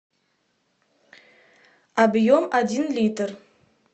объем один литр